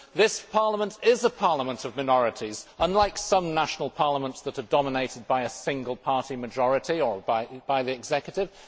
This Parliament is a parliament of minorities, unlike some national parliaments that are dominated by a single party majority or by the executive.